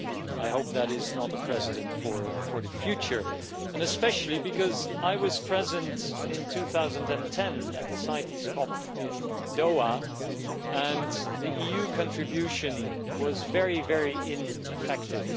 I hope that is not a precedent for the future, especially because I was present in 2010 at the CITES CoP in Doha, and the EU contribution there was very ineffective.